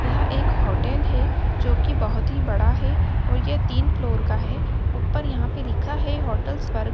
यह एक होटल है जो कि बोहोत ही बड़ा है और ये तीन फ्लोर का है ऊपर यहां पे लिखा है होटल स्वर्ग।